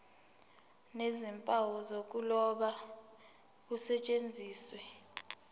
nezimpawu zokuloba kusetshenziswe